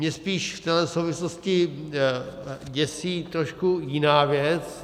Mě spíš v téhle souvislosti děsí trošku jiná věc.